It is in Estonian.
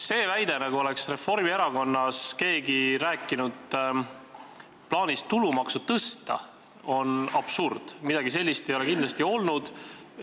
See väide, nagu oleks keegi Reformierakonnas rääkinud plaanist tulumaksu tõsta, on absurd – midagi sellist ei ole kindlasti olnud.